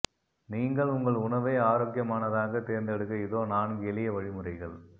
நீங்கள் உங்கள் உணவை ஆரோக்கியமானதாக தேர்ந்தெடுக்க இதோ நான்கு எளிய வழிமுறைகள்